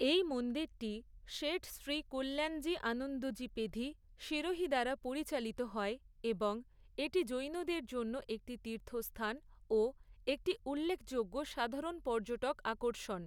এই মন্দিরটি সেঠ শ্রী কল্যাণজী আনন্দজী পেধি, সিরোহি দ্বারা পরিচালিত হয়, এবং এটি জৈনদের জন্য একটি তীর্থস্থান ও একটি উল্লেখযোগ্য সাধারণ পর্যটক আকর্ষণ।